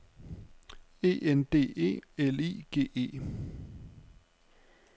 E N D E L I G E